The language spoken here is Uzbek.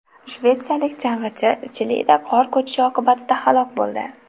Shvetsiyalik chang‘ichi Chilida qor ko‘chishi oqibatida halok bo‘ldi.